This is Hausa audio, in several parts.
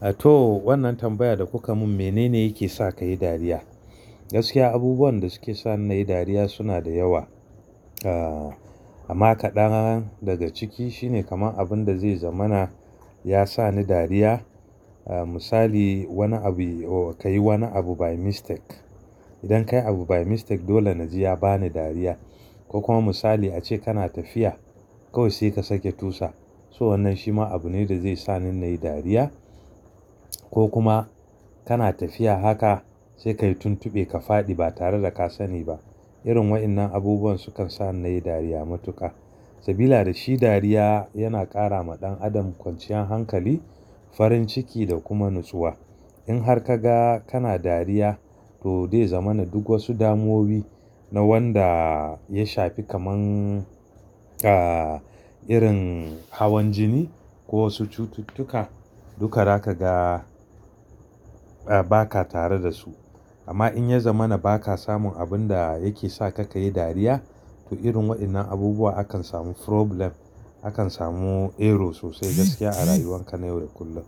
A to, wannan tambayar da kuka mun menene yake sa kayi dariya? Gaskiya abubuwan da suke sani nayi dariya suna da yawa. Ah amma kaɗan daga ciki shine kaman abun da zai zamana yasa ni dariya. Ah misali wani abu o kayi wani abu by mistake. Idan kayi abu by mistake dole naji ya bani dariya. Ko kuma misali ace kana tafiya, kawai sai ka sake tusa. To wannan shima abune da zai sani nayi dariya. Ko kuma kana tafiya haka sai kayi tuntuɓe ka faɗi ba tare da ka sani ba. Irin waƴannan abubuwan sukan sa nayi dariya matuƙa. Sabila da shi dariya yana ƙara ma ɗan adam kwanciyan hankali, farin ciki da kuma natsuwa. In har kaga kana dariya to zai zamana duk wasu damuwoyi na wanda ya shafi kaman ah irin hawan jini ko wasu cututtuka duka zaka ga a ba ka tare da su. Amma in ya zaman baka samun abun da yake sa ka kayi dariya to irin waɗannan abubuwa akan samu problem, akan samu error sosai gaskiya a rayuwan ka na yau da kullum.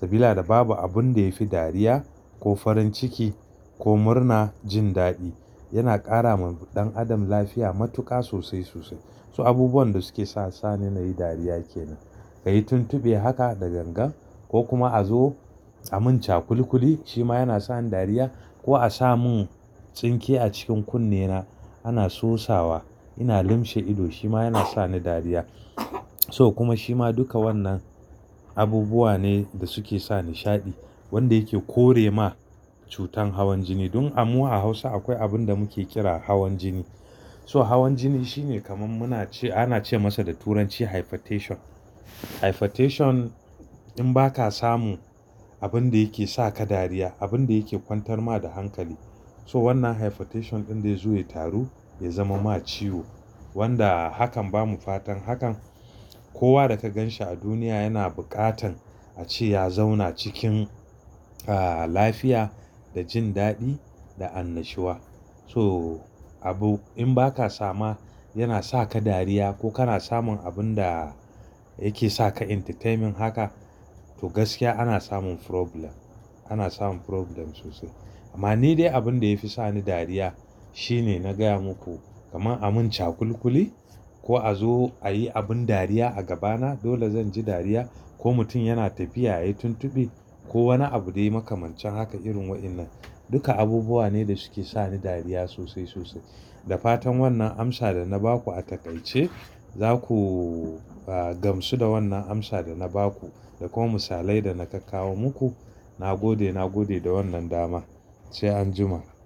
Sabila da babu abun da yafi dariya ko farin ciki ko murna jin daɗi. Yana ƙara ma ɗan adam lafiya matuƙa sosai sosai. So abubuwan da suke sani nayi dariya kenan. Kayi tuntuɓe haka da gangan ko kuma a zo a mun cakulikuli shima yana sani dariya ko a samun tsinke a cikin kunne na ana sosawa ina lumshe ido shima yana sani dariya. To kuma shima duka wannan abubuwa ne da suke sa nishaɗi wanda yake kore ma cutan hawan jini. Dan amu a Hausa akwai abun da muke kira hawan jini. To hawan jini shine kaman muna ce-- ana ce masa da turanci hypertension. Hypertension in baka samun abun da yake sa ka dariya, abun da yake kwantar ma da hankali. To wannan hypertension ɗin zai zo ya taru ya zama ma ciwo wanda hakan bamu fatan hakan. Kowa da ka ganshi a duniya yana buƙatan ace ya zauna cikin ah lafiya da jin daɗi da annashuwa. To abu in baka sama yana saka dariya ko kana samun abun da yake saka entertainment haka to gaskiya ana samun problem, ana samun problem sosai. Amma ni dai abinda yafi sani dariya shine na gaya muku kaman a mun cakulikuli ko a zo ayi abun dariya a gabana dole zan ji dariya ko mutum yana tafiya yayi tuntuɓe ko wani abu dai makamancin haka irin waƴannan. Duka abubuwa ne da suke sani dariya sosai sosai. Da fatan wannan amsa da na baku a taƙaice zaku ah gamsu da wannan amsa da na baku da kuma misalai da na kawo muku. Na gode, na gode da wannan dama. Sai anjima.